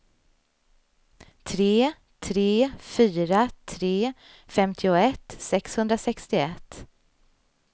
tre tre fyra tre femtioett sexhundrasextioett